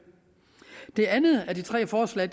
det andet af de tre forslag